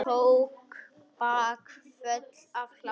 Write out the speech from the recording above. Tók bakföll af hlátri.